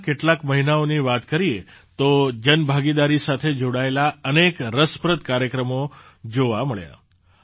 પહેલા કેટલાક મહિનાઓની વાત કરીએ તો જનભાગીદારી સાથે જોડાયેલા અનેક રસપ્રદ કાર્યક્રમો જોવા મળ્યા